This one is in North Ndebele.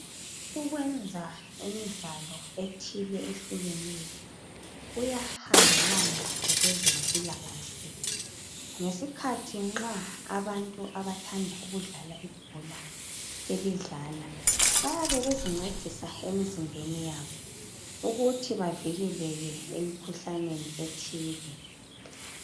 Ukwenza imidlalo ethile ehlukeneyo kuyahambelana lokwezempilakahle ngesikhathi nxa abantu abathanda ukudlala ibhola belidlala bayabe bezincedisa emizimbeni yabo ukuthi bavikeleke emikhuhlaneni ethile.